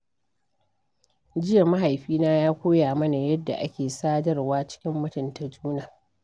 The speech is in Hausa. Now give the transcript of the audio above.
Jiya, mahaifina ya koya mana yadda ake sadarwa cikin mutunta juna.